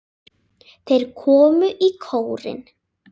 Þeir komu í kórinn.